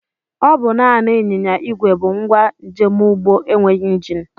Ọ bụ naanị ịnyịnya ìgwè bụ ngwa njemụgbọ enweghị njini